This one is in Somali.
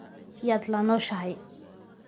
Yaad la nooshahay?